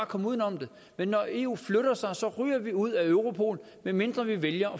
komme uden om det men når eu flytter sig ryger vi ud af europol medmindre vi vælger